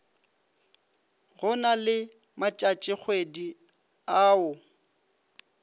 go na le matšatšikgwedi ao